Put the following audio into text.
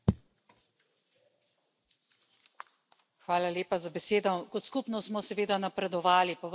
Gospa predsednica, Kot skupnost smo seveda napredovali, pa vendar je situacija od države do države zelo različna.